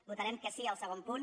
votarem que sí al segon punt